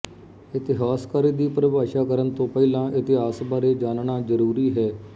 ਇਤਿਹਾਸਕਾਰੀ ਦੀ ਪਰਿਭਾਸ਼ਾ ਕਰਨ ਤੋ ਪਹਿਲਾਂ ਇਤਿਹਾਸ ਬਾਰੇ ਜਾਨਣਾ ਜ਼ਰੂਰੀ ਹੈ